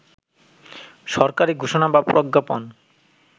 সরকারি ঘোষণা বা প্রজ্ঞাপন